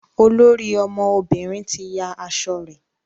olórí àwọn ọmọbìnrin tí yá aṣọ rẹ.